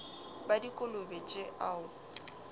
ba dikolobe tje o a